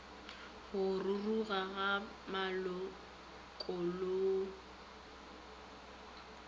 go ruruga ga malokollo di